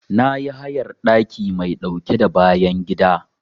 Na yi hayar ɗaki mai ɗauke da bayan gida.